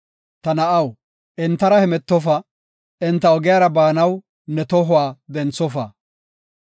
Ta na7aw, entara hemetofa; enta ogiyara baanaw ne tohuwa denthofa.